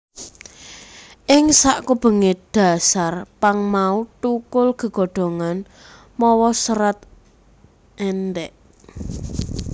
Ing sakubengé dhasar pang mau thukul gegodhongan mawa serat èndhèk